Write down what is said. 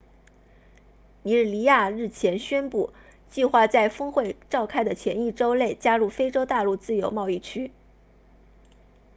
尼日利亚日前宣布计划在峰会召开的前一周内加入非洲大陆自由贸易区 afcfta